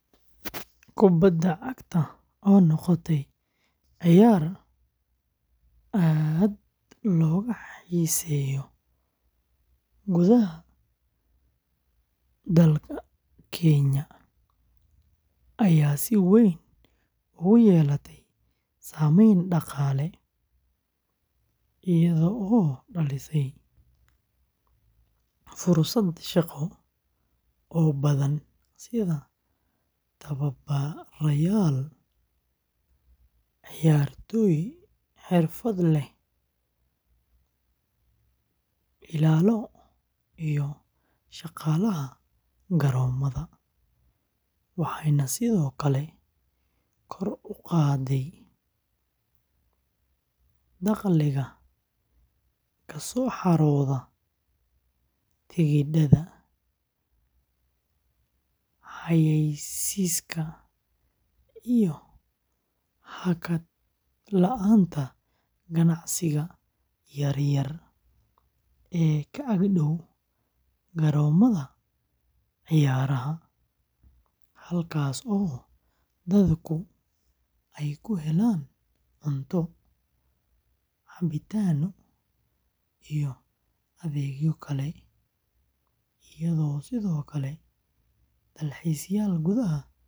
Kubadda cagta oo noqotay ciyaar aad looga xiiseeyo gudaha Kenya ayaa si weyn ugu yeelatay saameyn dhaqaale, iyadoo dhalisay fursado shaqo oo badan sida tababarayaal, ciyaartoy xirfadlayaal ah, ilaalo, iyo shaqaalaha garoomada, waxayna sidoo kale kor u qaadday dakhliga kasoo xarooda tikidhada, xayeysiiska, iyo hakad la'aanta ganacsiga yaryar ee ka ag-dhaw garoomada ciyaaraha, halkaasoo dadku ay ka helaan cunto, cabitaan iyo adeegyo kale, iyadoo sidoo kale dalxiisayaal gudaha iyo dibadda ka yimid.